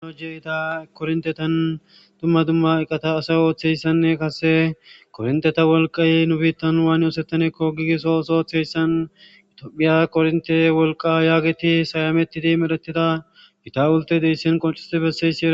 Ano jeita korintetan dumma dumma eqata asay ooththeyssanne kase korinteta wolqay nu biittan waani oosettanekko gigiso oso ooththeyssan itophiya kornte wolqa yaageti sayametidi medhetida gita ulte deyssin qonxisti bessesee